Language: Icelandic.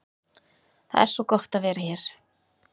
Það er svo gott að vera hér.